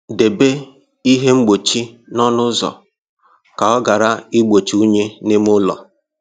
Debe ihe mgbochi ọnụ ụzọ ka ọ ghara igbochi unyi n'ime ụlọ.